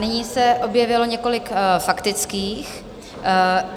Nyní se objevilo několik faktických.